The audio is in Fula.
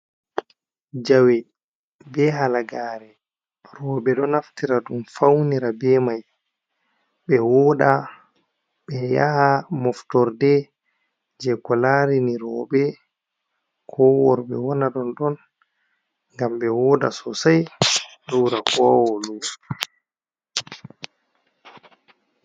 Jawe be halagare roɓe ɗo naftira ɗum faunira be mai ɓe woɗa ɓe yaha moftorde je ko larini roɓe ko worɓe wana ɗon ɗon ngam ɓe woda sosai ɓe ɓura kowa woɗugo.